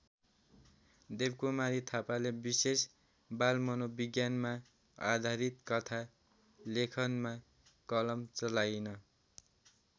देवकुमारी थापाले विशेष बालमनोविज्ञानमा आधारित कथा लेखनमा कलम चलाइन्।